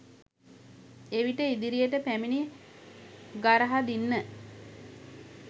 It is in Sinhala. එවිට ඉදිරියට පැමිණි ගරහදින්න